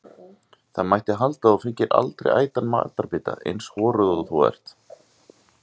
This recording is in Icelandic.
Það mætti halda að þú fengir aldrei ætan matarbita, eins horuð og þú ert.